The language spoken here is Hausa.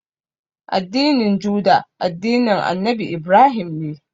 Addinin Juda, addinin Annabi Ibrahim ne.